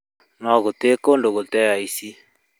No gũtirĩ kũndũ gũtarĩ aici